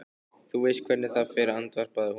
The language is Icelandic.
Þú veist hvernig það fer, andvarpaði hún.